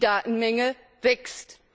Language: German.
Die Datenmenge wächst.